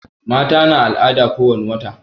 Mata na al'ada ko wani wata